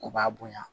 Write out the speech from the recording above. O b'a bonya